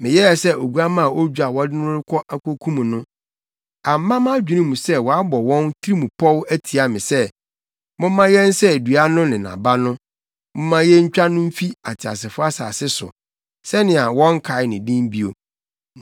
Meyɛɛ sɛ oguamma a odwo a wɔde no rekɔ akokum no; amma mʼadwene mu sɛ wɔabɔ wɔn tirim pɔw atia me sɛ, “Momma yɛnsɛe dua no ne nʼaba no; momma yentwa no mfi ateasefo asase so, sɛnea wɔnnkae ne din bio.”